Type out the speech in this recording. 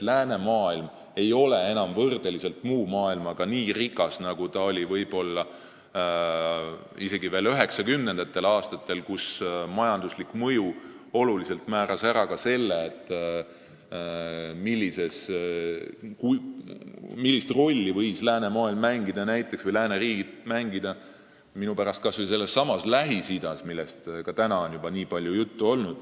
Läänemaailm ei ole võrreldes muu maailmaga enam nii rikas, nagu ta oli isegi veel 1990. aastatel, kui majanduslik mõju määras suuresti ära ka selle, millist rolli võisid lääneriigid mängida minu pärast kas või Lähis-Idas, millest on tänagi nii palju juttu olnud.